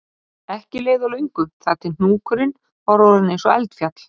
Ekki leið á löngu þar til hnúkurinn var orðinn eins og eldfjall